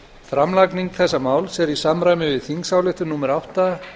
framlagning þessa máls er í samræmi við þingsályktun númer átta